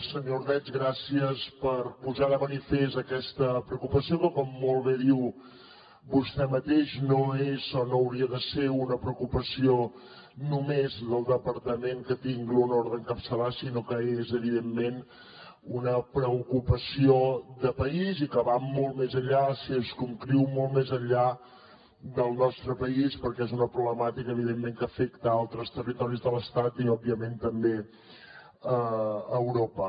senyor ordeig gràcies per posar de manifest aquesta preocupació que com molt bé diu vostè mateix no és o no hauria de ser una preocupació només del departament que tinc l’honor d’encapçalar sinó que és evidentment una preocupació de país i que va molt més enllà se circumscriu molt més enllà del nostre país perquè és una problemàtica evidentment que afecta altres territoris de l’estat i òbviament també d’europa